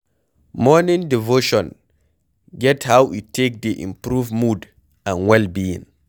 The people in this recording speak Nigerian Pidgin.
Morning devotion get how e take dey improve mood and well being